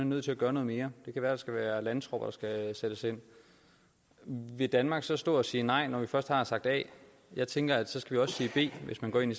nødt til at gøre noget mere det kan være skal være landtropper der skal sættes ind vil danmark så stå og sige nej når vi først har sagt a jeg tænker at så skal vi også sige b hvis man går ind